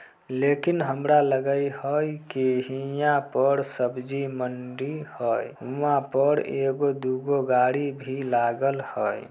लेकिन हमरा लगय हैय की हिया पर सब्जी मंडी हैय हुवा पर एगो-दुगो गाड़ी भी लागल हैय।